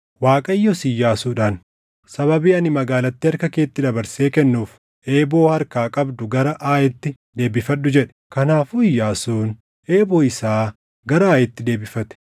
Waaqayyos Iyyaasuudhaan, “Sababii ani magaalattii harka keetti dabarsee kennuuf, eeboo harkaa qabdu gara Aayitti deebifadhu” jedhe. Kanaafuu Iyyaasuun eeboo isaa gara Aayitti deebifate.